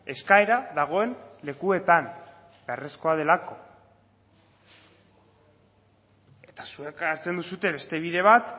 eskaera dagoen lekuetan beharrezkoa delako eta zuek hartzen duzue beste bide bat